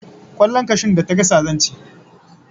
Kwallon kashun da ta gasa zan ci